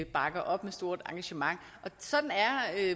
bakker op med stort engagement sådan er